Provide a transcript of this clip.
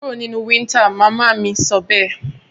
Kúro nínú winter! mama mí sọbẹ́ẹ̀